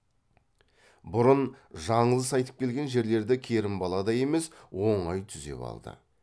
бұрын жаңылыс айтып келген жерлерді керімбаладай емес оңай түзеп алды